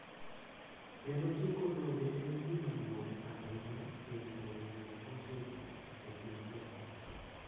Kendo tieko lwenje en gima duong’ ahinya e rito winjruok motegno e kind joot.